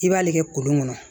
I b'ale kɛ kolon kɔnɔ